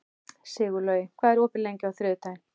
Sigurlogi, hvað er opið lengi á þriðjudaginn?